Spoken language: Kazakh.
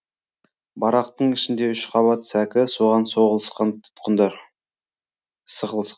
барақтың ішінде үш қабат сәкі соған соғылысқан тұтқындар